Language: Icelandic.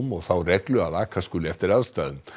og þá reglu að aka skuli eftir aðstæðum